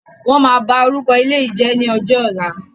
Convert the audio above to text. Wọn máa bá orúkọ ilé yìí jẹ̀ ni ọjọ́ ọ̀la.